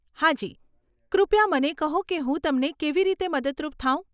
હા જી, કૃપયા મને કહો કે હું તમને કેવી રીતે મદદરૂપ થાવ ?